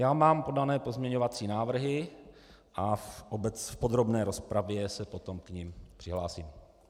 Já mám podány pozměňovací návrhy a v podrobné rozpravě se potom k nim přihlásím.